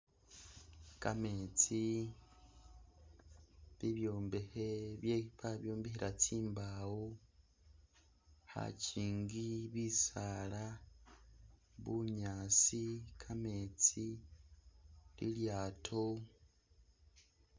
Kametsi, bibyombekhe bye babyombekhela tsimbawo, khakyingi, bisaala, bunyaasi, kametsi, ilyaato